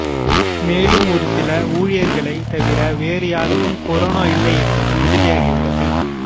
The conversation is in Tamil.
மேலும் ஒருசில ஊழியர்களை தவிர வேறு யாருக்கும் கொரோனா இல்லை என்பது உறுதியாகியுள்ளது